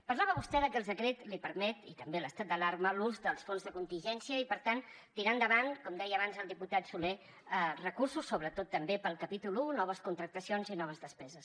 parlava vostè de que el decret li permet i també l’estat d’alarma l’ús dels fons de contingència i per tant tirar endavant com deia abans el diputat soler recursos sobretot també pel capítol un noves contractacions i noves despeses